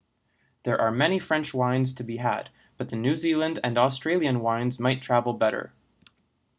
there are many french wines to be had but the new zealand and australian wines might travel better